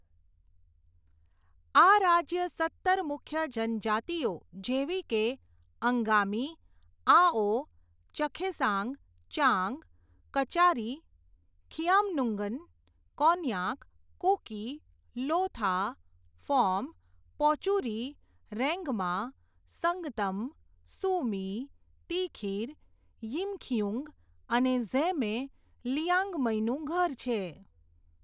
આ રાજ્ય સત્તર મુખ્ય જનજાતિઓ, જેવી કે, અંગામી, આઓ, ચખેસાંગ, ચાંગ, કચારી, ખિયામ્નુંગન, કોન્યાક, કુકી, લોથા, ફોમ, પોચુરી, રેંગમા, સંગતમ, સુમી, તિખિર, યિમખિયુંગ અને ઝેમે લિયાંગમઈનું ઘર છે.